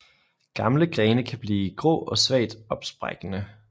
Gamle grene kan blive grå og svagt opsprækkende